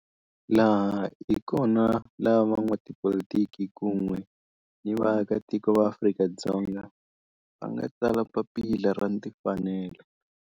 Laha hi kona la van'watipolitiki kun'we ni vaaka tiko va Afrika-Dzonga va nga tsala papila ra timfanelo, Freedom Charter.